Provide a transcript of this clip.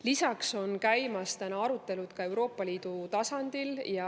Lisaks on käimas arutelud Euroopa Liidu tasandil.